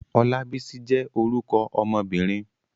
Olabisi jé orúkọ ọmobìnrin.